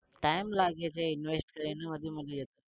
time લાગે છે invest